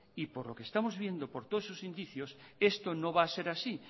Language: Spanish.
y por lo que estamos viendo y por todos esos indicios esto no va a ser así